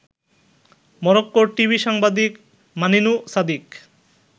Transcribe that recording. মরক্কোর টিভি সাংবাদিক মানিনু সাদিক